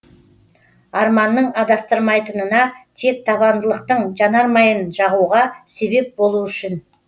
арманның адастырмайтынына тек табандылықтың жанармайын жағуға себеп болу үшін